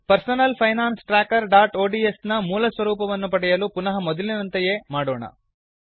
personal finance trackerಒಡಿಎಸ್ ನ ಮೂಲ ಸ್ವರೂಪವನ್ನು ಪಡೆಯಲ್ಲು ಪುನಃ ಮೊದಲಿನಂತೆಯೇ ಮಾಡೋಣ